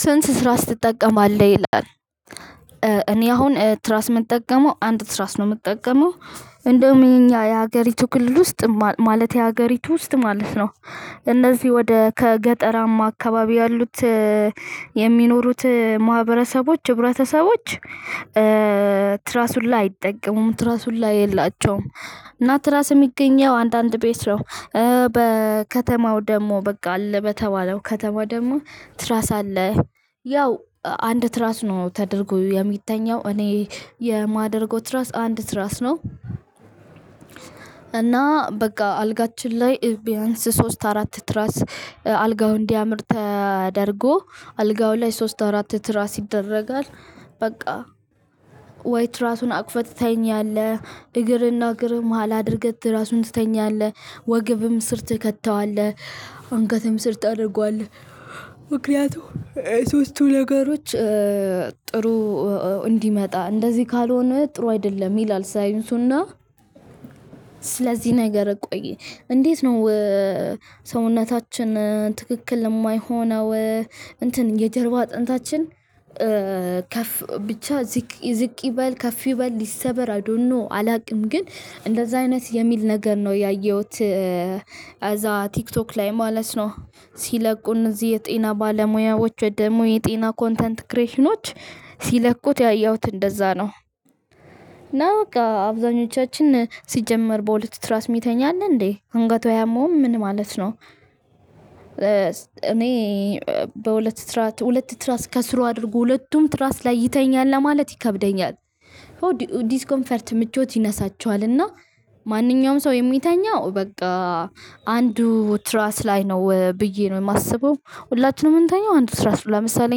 ስንት ትራስ ትጠቀማለህ? ይላል። እኔ አሁን ትራስ የምጠቀመው አንድ ትራስ ነው የምጠቀመው። እንደውም የኛ የሀገሪቱ ክልል ውስጥ ማለት የሀገሪቱ ውስጥ ማለት ነው እነዚህ ወደ ከገጠራማ አካባቢ ያሉት የሚኖሩት ማህበረሰቦች ህብረተሰቦች ትራስ ሁላ አይጠቀሙም ትራስ ሁላ የላቸውም። እና ትራስ የሚገኘው አንዳንድ ቤት ነው። በከተማው ደግሞ በቃ አለ በተባለው ከተማ ደግሞ ትራስ አለ። ያው አንድ ትራስ ነው ተደርጎ የሚተኛው እኔ የማደርገው ትራስ አንድ ትራስ ነው እና በቃ አልጋችን ላይ ቢያንስ ሶስት አራት ትራስ አልጋውን እንዲያምር ተደርጎ አልጋው ላይ ሶስት አራት ትራስ ይደረጋል። በቃ ወይ ትራሱን አቅፈህ ትተኛለህ። እግርህና እግርህ መሃል አድርገህ ትራሱን ትተኛለህ። ወገብም ስር ትከተዋለህ። አንገትም ስር ታደርገዋለህ። ምክንያቱም ሶስቱ ነገሮች ጥሩ እንዲመጣ እንደዚህ ካልሆነ ጥሩ አይደለም ይላል ሳይንሱና ስለዚህ ነገር ቆይ! እንዴት ነው ሰውነታችን ትክክል የማይሆነው እንትን የጀርባ አጥንታችን ከፍ ብቻ ዝቅ ዝቅ ይበል ከፍ ይበል ይሰበር አይ ዶንት ኖ አላውቅም። ግን እንደዛ አይነት የሚል ነገር ነው ያየሁት እዚያ ቲክቶክ ላይ ማለት ነው ሲለቁ ብዙ ጊዜ የጤና ባለሙያዎች ወይ ደግሞ የጤና ኮንተንት ክሬሽኖች ሲለቁት ያየሁት እንደዛ ነው። እና በቃ አብዛኞቻችን ሲጀመር በሁለት ትራስ ሚተኛ አለ እንዴ? አንገቱ አያመውም? ምን ማለት ነው? እኔ በሁለት ትራት ሁለት ትራስ ከስሩ አድርጎ ሁለቱም ትራስ ላይ ይተኛል ለማለት ይከብደኛል። ዲስኮምፈርት ምቾት ይነሳቸዋልና ማንኛውም ሰው የሚተኛው በቃ አንዱ ትራስ ላይ ነው ብዬ ነው የማስበው። ሁላችንም የምንተኛው አንዱ ትራስ ለምሳሌ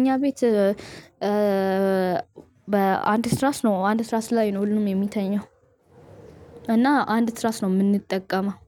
እኛ ቤት በአንድ ትራስ ነው አንድ ትራስ ላይ ነው ሁሉም የሚተኛው። እና አንድ ትራስ ነው የምንጠቀመው።